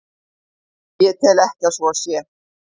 Ég tel ekki að svo sé.